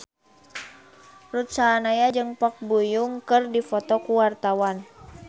Ruth Sahanaya jeung Park Bo Yung keur dipoto ku wartawan